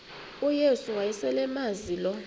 uyesu wayeselemazi lo